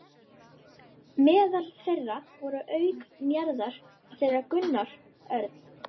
Meðal þeirra voru auk Njarðar þeir Gunnar Örn